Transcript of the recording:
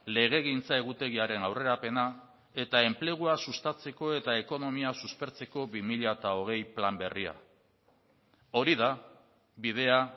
legegintza egutegiaren aurrerapena eta enplegua sustatzeko eta ekonomia suspertzeko bi mila hogei plan berria hori da bidea